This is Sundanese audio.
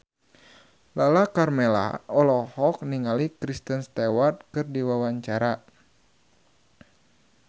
Lala Karmela olohok ningali Kristen Stewart keur diwawancara